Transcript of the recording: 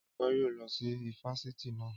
Ọpẹ́ yóò lọ sí ifásitì naa